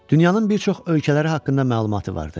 Dünyanın bir çox ölkələri haqqında məlumatı vardı.